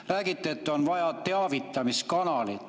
Räägite, et on vaja teavitamiskanalit.